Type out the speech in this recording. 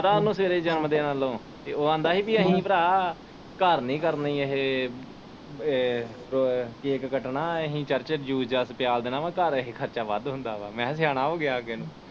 ਕਹਿਤਾ ਓਹਨੂੰ ਸਵੇਰੇ ਜਨਮ ਦਿਨ ਵਲੋਂ ਤੇ ਉਹ ਆਂਦਾ ਹੀ ਪੀ ਅਸੀ ਭਰਾ ਘਰ ਨਹੀਂ ਕਰਨੀ ਅਹੇ ਏ ਕੈਕ ਕੱਟਣਾ ਅਸੀ ਚਰਚ ਈ ਜੂਸ ਜਾਸ ਪਿਆਲ ਦੇਣਾ ਵਾ ਘਰ ਅਹੇ ਖਰਚਾ ਵੱਧ ਹੁੰਦਾ ਵਾ ਮੈ ਕਿਹਾ ਸਿਆਣਾ ਹੋ ਅੱਗੇ ਨੂੰ।